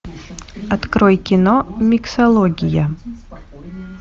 открой кино миксология